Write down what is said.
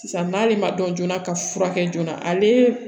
Sisan n'ale ma dɔn joona ka furakɛ joona ale